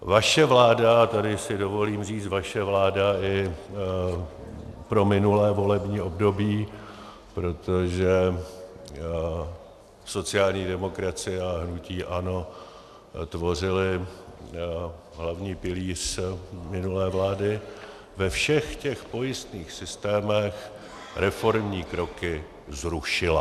Vaše vláda - a tady si dovolím říci vaše vláda i pro minulé volební období, protože sociální demokracie a hnutí ANO tvořily hlavní pilíř minulé vlády - ve všech těch pojistných systémech reformní kroky zrušila.